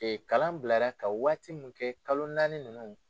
kalan bilara ka waati mun kɛ kalo naani ninnu.